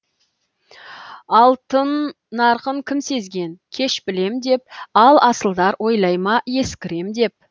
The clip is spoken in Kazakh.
алтын нарқын кім сезген кеш білем деп ал асылдар ойлай ма ескірем деп